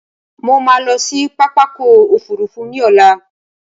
Mo máa lọ sí pápákọ̀ òfurufú ní ọ̀la